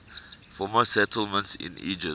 former settlements in egypt